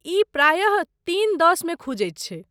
ई प्रायः तीन दश मे खुजैत छै।